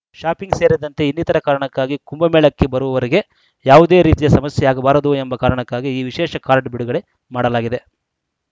shopping ಸೇರಿದಂತೆ ಇನ್ನಿತರ ಕಾರಣಕ್ಕಾಗಿ ಕುಂಭಮೇಳಕ್ಕೆ ಬರುವವರಿಗೆ ಯಾವುದೇ ರೀತಿಯ ಸಮಸ್ಯೆಯಾಗಬಾರದು ಎಂಬ ಕಾರಣಕ್ಕಾಗಿ ಈ ವಿಶೇಷ ಕಾರ್ಡ್‌ ಬಿಡುಗಡೆ ಮಾಡಲಾಗಿದೆ